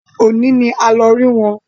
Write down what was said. Òní ni a lọ rí wọn